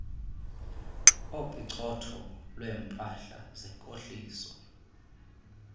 opicotho lweempahla zenkohliso